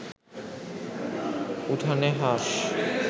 উঠানে হাঁস